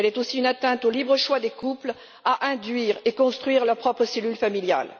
Elle est aussi une atteinte au libre choix des couples d'induire et de construire leur propre cellule familiale.